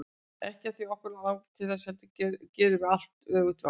Ekki af því að okkur langi til þess, heldur gerum við allt öfugt við allt.